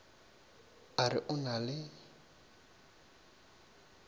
a re o na le